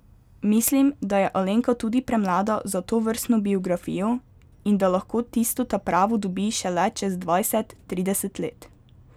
Mislim, da je Alenka tudi premlada za tovrstno biografijo in da lahko tisto ta pravo dobi šele čez dvajset, trideset let.